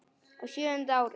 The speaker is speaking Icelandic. Á sjöunda ári